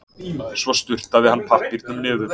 Svo sturtaði hann pappírnum niður.